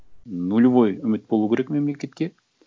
нулевой үміт болу керек мемлекетке